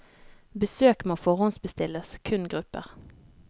Besøk må forhåndsbestilles, kun grupper.